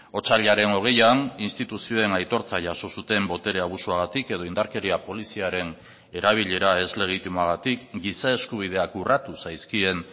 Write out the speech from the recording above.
otsailaren hogeian instituzioen aitortza jaso zuten botere abusuagatik edo indarkeria poliziaren erabilera ez legitimoagatik giza eskubideak urratu zaizkien